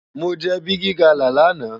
Mó jè bigi gala làná